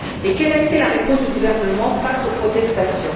Quelle a été la réponse du gouvernement face aux protestations?